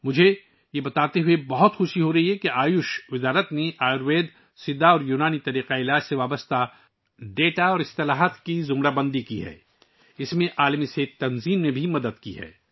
مجھے یہ بتاتے ہوئے خوشی ہو رہی ہے کہ آیوش کی وزارت نے عالمی ادارہ صحت کی مدد سے آیوروید، سدھا اور یونانی طب سے متعلق اعداد و شمار اور اصطلاحات کی درجہ بندی کی ہے